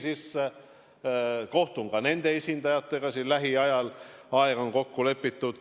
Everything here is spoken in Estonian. Kohtun lähiajal ka nende esindajatega, aeg on kokku lepitud.